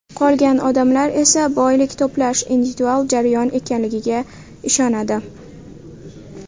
Qolgan odamlar esa boylik to‘plash individual jarayon ekanligiga ishonadi.